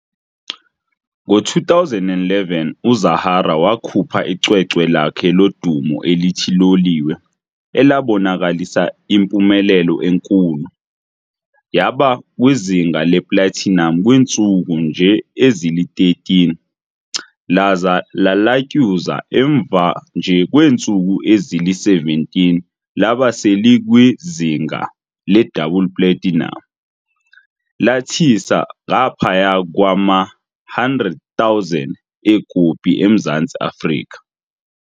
Ngo2011 uZahara wakhupha icwecwe lakhe lodumo elithi "Loliwe", elabonakalisa yimpumelelo enkulu, yaba kwizinga le"platinum" kwiintsuku nje ezili-13 laza lalatyuza emva nje kweentsuku ezili-17 laba selikwizinga le"double platinum", lathisa ngaphaya kwama100,000 eekopi eMzantsi Afrika.